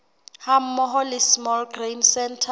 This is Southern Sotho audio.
hammoho le small grain centre